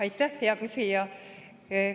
Aitäh, hea küsija!